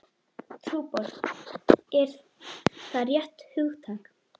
Trúboð, er það rétt hugtak?